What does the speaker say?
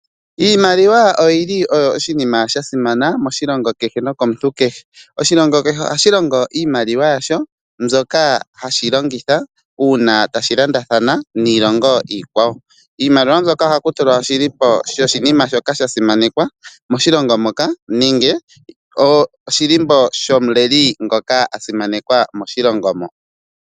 Iimaliwa oyili oyo oshinima shasimana moshilongo kehe nokomuntu kehe. Oshilongo kehe ohashi longo iimaliwa yasho mbyoka hashi longitha una tashi landathana niilongo iikwawo. Iimaliwa mbyoka ohaku tulwa oshilimbo sho shinima shoka sha simanekwa moshilongo moka nenge nenge oshilimbo shomuleli gomoshilongo mono.